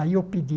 Aí eu pedi